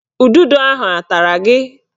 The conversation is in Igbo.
Ududo ahụ a tara gị?